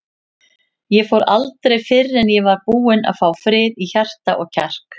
Ég fór aldrei fyrr en ég var búinn að fá frið í hjarta og kjark.